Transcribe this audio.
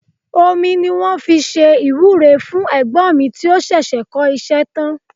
Omi ni wọ́n fi ṣe ìwúre fún ẹ̀gbọ́n mi tí ó ṣẹ̀ṣẹ̀ kọ́ iṣẹ́ tán